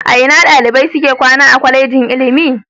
A ina dalibai suke kwana a Kwallejin ilimi?